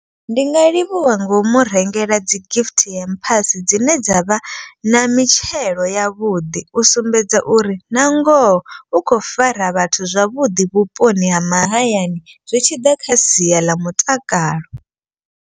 Ndi nga livhuwa ngomu rengela dzi gift ya hampers dzine dza vha na mitshelo yavhuḓi. U sumbedza uri na ngoho u khou fara vhathu zwavhuḓi vhuponi ha mahayani zwi tshi ḓa kha sia ḽa mutakalo.